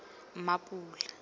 mapula